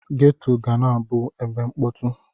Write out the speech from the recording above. Geto ga na-abụ ebe mkpọtụ.